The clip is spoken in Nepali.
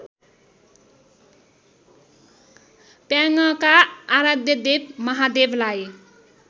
प्याङका आराध्यदेव महादेवलाई